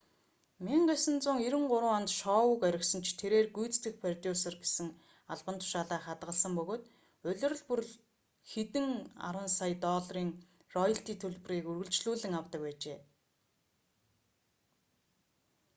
1993 онд шоуг орхисон ч тэрээр гүйцэтгэх продюсер гэсэн албан тушаалаа хадгалсан бөгөөд улирал бүр хэдэн арван сая долларын роялти төлбөрийг үргэлжлүүлэн авдаг байжээ